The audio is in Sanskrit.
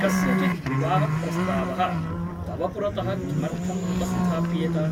कस्यचित् विवाहप्रस्तावः तव पुरतः किमर्थम् उपस्थाप्येत ?